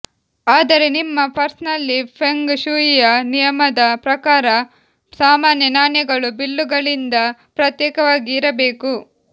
ಆದರೆ ನಿಮ್ಮ ಪರ್ಸ್ನಲ್ಲಿ ಫೆಂಗ್ ಶೂಯಿಯ ನಿಯಮದ ಪ್ರಕಾರ ಸಾಮಾನ್ಯ ನಾಣ್ಯಗಳು ಬಿಲ್ಲುಗಳಿಂದ ಪ್ರತ್ಯೇಕವಾಗಿ ಇರಬೇಕು